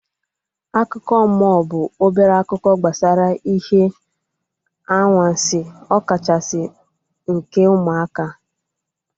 Akụkọ mmụọ bụ obere akụkọ gbasara ihe anwansi ọ kachasị nke ụmụaka